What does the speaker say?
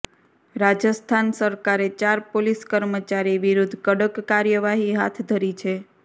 રાજસ્થાન સરકારે ચાર પોલીસ કર્મચારી વિરૂદ્ધ કડક કાર્યવાહી હાથ ધરી છે